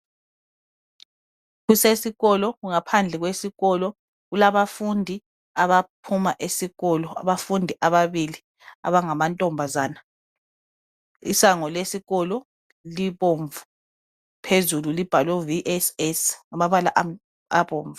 Kusesikolo kungaphandle kwesikolo kulabafundi abaphuma esikolo abafundi ababili abangamantombazana .Isango lesikolo libomvu phezulu libhalwe VSS ngamabala abomvu.